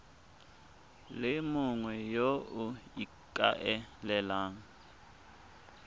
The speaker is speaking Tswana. le mongwe yo o ikaelelang